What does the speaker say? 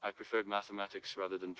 отвечает на самотёк свободы